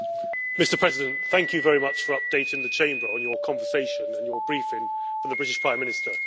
Mr President, thank you very much for updating the Chamber on your conversation and your briefing from the British Prime Minister.